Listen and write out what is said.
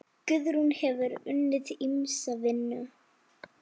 Guðrún hefur unnið ýmsa vinnu.